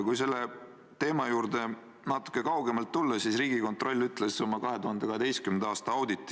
Kui selle teema juurde natuke kaugemalt tulla, siis tsiteerin Riigikontrolli 2012. aasta auditit.